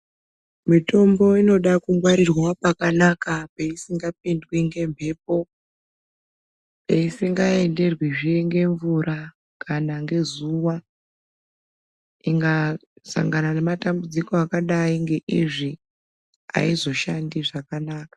Mitombo inode kungwarirwa pakanaka peisingapindwi ngemhepo, peisingaenderwe zvee ngemvura kana ngezuwa, ikasangana nematambudziko akadai ngeizvi aizoshande zvakanaka